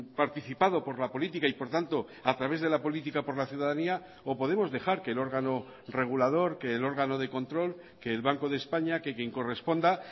participado por la política y por tanto a través de la política por la ciudadanía o podemos dejar que el órgano regulador que el órgano de control que el banco de españa que quien corresponda